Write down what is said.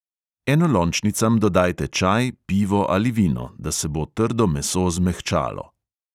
Enolončnicam dodajte čaj, pivo ali vino, da se bo trdo meso zmehčalo.